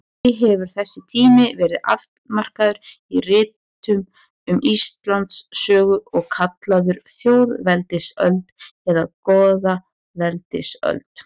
Því hefur þessi tími verið afmarkaður í ritum um Íslandssögu og kallaður þjóðveldisöld eða goðaveldisöld.